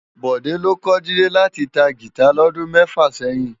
Bode ló kò Jide láti tá gitá lòdún mèfá sèyin